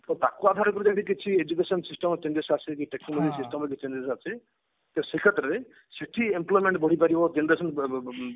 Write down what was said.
ତ ତାକୁ ଆଧାର କରି ସେମଟି କିଛି education system technology system ଯୋଉ ଅଛି ତ ସେଇ କ୍ଷେତ୍ରରେ ସେଠି employment ବଢି ପାରିବ ଯେମତି ଅଛନ୍ତି ବ ବ ବ ବ